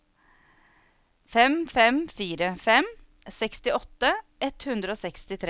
fem fem fire fem sekstiåtte ett hundre og sekstitre